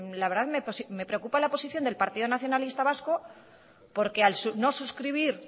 la verdad me preocupa la posición del partido nacionalista vasco porque al no suscribir